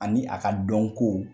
Ani a ka dɔnko